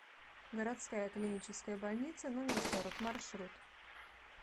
городская клиническая больница номер сорок маршрут